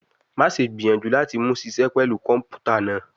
Maṣe gbiyanju lati mu ṣiṣẹ pẹlu kọnputa naa